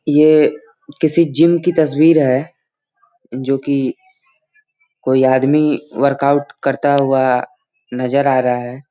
ये किसी जिम की तस्वीर है जो कि कोई आदमी वर्कआउट करता हुआ नज़र आ रहा है।